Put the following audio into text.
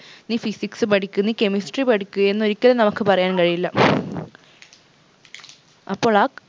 നീ physics പഠിക്ക് നീ chemistry പഠിക്ക് എന്നൊരിക്കലും നമുക്ക് പറയാൻ കഴിയില്ല അപ്പോൾ ആ